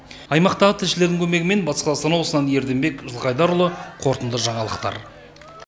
аймақтағы тілшілердің көмегімен батыс қазақстан облысынан ерденбек жылқайдарұлы қорытынды жаңалықтар